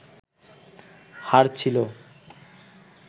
হার ছিলো